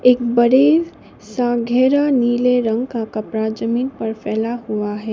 एक बड़ी सा गहरा नीले रंग का कपड़ा ज़मीन पर फैला हुआ है।